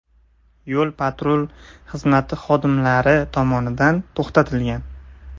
yo‘l-patrul xizmati xodimlari tomonidan to‘xtatilgan.